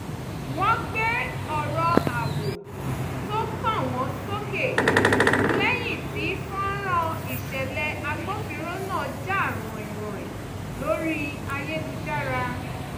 wọ́n gbé ọ̀rọ̀ ààbò tó kàn wọ́n sókè lẹ́yìn tí fọ́nrán ìṣẹ̀lẹ̀ agbófinró náà jà ràìnràìn lórí ayélujára